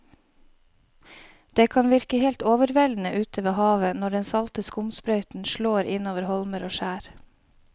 Det kan virke helt overveldende ute ved havet når den salte skumsprøyten slår innover holmer og skjær.